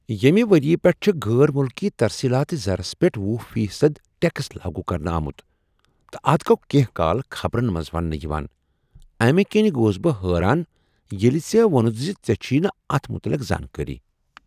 ییٚمہ ؤریہ پیٹھٕ چھ غیر ملکی ترسیلات زرس پیٹھ ۄہُ فی صد ٹیکس لاگو کرنہٕ آمت تہٕ اتھ گوٚو کینٛہہ کال خبرن منٛز ونٛنہٕ یوان، امہ کنۍ گوس بہٕ حٲران ییٚلہ ژےٚ ووٚنتھ ز ژےٚ چھے نہٕ اتھ متعلق زانکٲری۔